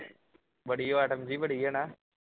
ਬੜੀ ਵਟਣ ਜਹੀ ਬੜੀ ਹੈ ਨਾਂ